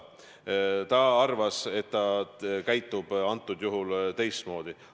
Ta arvas, et ta käitub teistmoodi.